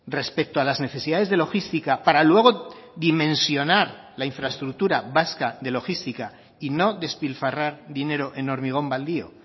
respecto a las necesidades de logística para luego dimensionar la infraestructura vasca de logística y no despilfarrar dinero en hormigón baldío